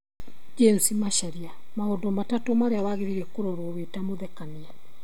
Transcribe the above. James Macharia: Maũndũ matatũ marĩa wagĩrĩirwo nĩ kũrora wĩ ta mũthekania